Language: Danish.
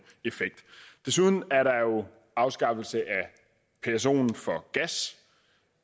effekt desuden er der jo afskaffelse af psoen for gas